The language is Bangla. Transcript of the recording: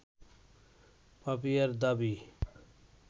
পাপিয়ার দাবি